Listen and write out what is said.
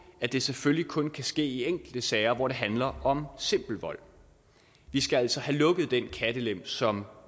at det selvfølgelig kun kan ske i enkelte sager hvor det handler om simpel vold vi skal altså have lukket den kattelem som